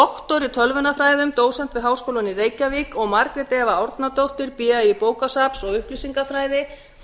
jónsson phd í tölvunarfræði dósent við háskólann í reykjavík og margrét eva árnadóttir ba í bókasafns og upplýsingafræði